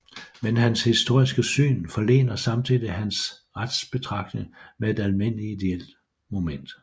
Men hans historiske syn forlener samtidig hans retsbetragtning med et almindelig ideelt moment